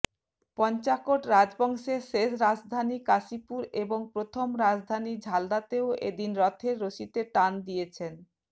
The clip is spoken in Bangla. পঞ্চাকোট রাজবংশের শেষ রাজধানী কাশীপুর এবং প্রথম রাজধানী ঝালদাতেও এ দিন রথের রশিতে টান দিয়েছেন